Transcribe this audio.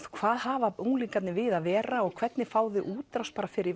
hvað hafa unglingarnir við að vera og hvernig fá þeir útrás fyrir